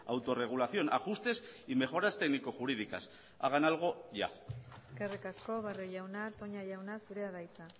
autorregulación ajustes y mejoras técnico jurídicas hagan algo ya eskerrik asko barrio jauna toña jauna zurea da hitza